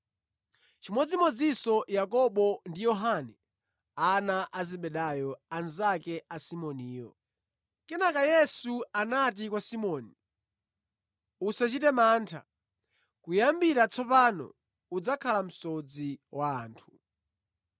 chimodzimodzinso Yakobo ndi Yohane, ana a Zebedayo, anzake a Simoniyo. Kenaka Yesu anati kwa Simoni, “Musachite mantha; kuyambira tsopano ndidzakusandutsani asodzi a anthu.”